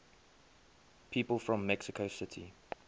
people from mexico city